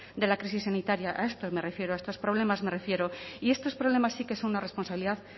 de la crisis sanitaria a esto me refiero a estos problemas me refiero y estos problemas sí que son una responsabilidad